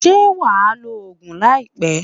Ṣé wà á lo oògùn láìpé?